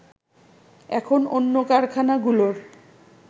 এখন অন্য কারখানাগুলোর